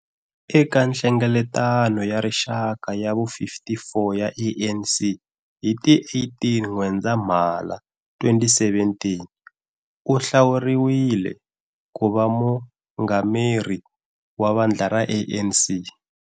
Eka Nhlengeletano ya Rixaka ya vu 54 ya ANC hi ti 18 N'wendzamhala 2017, u hlawuriwile ku va Mungameri wa vandla ra ANC.